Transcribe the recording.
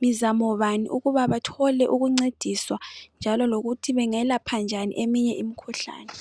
mizamo bani ukuba bathole ukuncediswa njalo lokuthi bengelapha njani eminye imikhuhlani.